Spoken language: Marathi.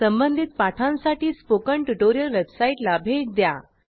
संबंधित पाठांसाठी स्पोकन ट्युटोरियल वेबसाईटला भेट द्या